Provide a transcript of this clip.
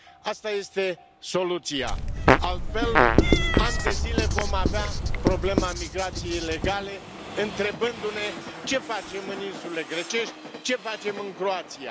Asta este soluția, altfel, ani de zile vom avea problema migrației ilegale, întrebându ne ce facem în insulele grecești, ce facem în Croația?